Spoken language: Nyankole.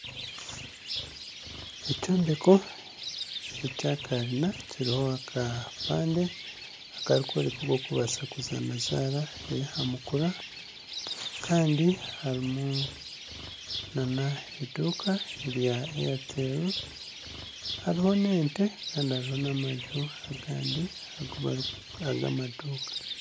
Ekyombeko ekyakarina kiriho akapande akarikworeka oku orikubaasa kuzaana zaara eyaha mukura kandi harimu nana eduuka erya itel hariho n'ente kandi hariho nana amaju agandi ag'amaduuka